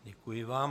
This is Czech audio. Děkuji vám.